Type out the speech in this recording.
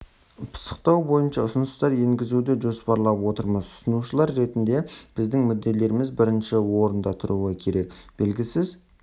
пысықтау бойынша ұсыныстар енгізуді жоспарлап отырмыз тұтынушылар ретінде біздің мүдделеріміз бірінші орында тұруы керек белгісіз